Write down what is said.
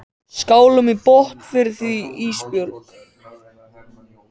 Skálum í botn fyrir því Ísbjörg.